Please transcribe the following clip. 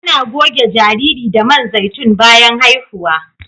Ana goge jariri da man zaitun bayan haihuwa